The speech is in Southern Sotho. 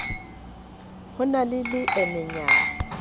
ho e na le leemenyana